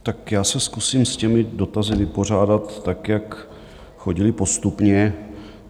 Tak já se zkusím s těmi dotazy vypořádat, tak jak chodily, postupně.